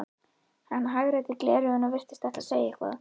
Hann hagræddi gleraugunum og virtist ætla að segja eitthvað.